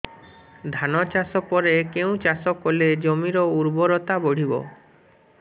ଧାନ ଚାଷ ପରେ କେଉଁ ଚାଷ କଲେ ଜମିର ଉର୍ବରତା ବଢିବ